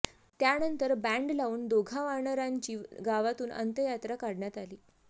त्यानंतर बँड लावून दोघा वानरांची गावातून अंत्ययात्रा काढण्यात आली